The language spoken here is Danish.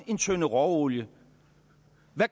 en tønde råolie